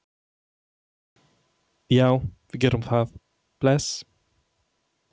Já, við gerum það. Bless.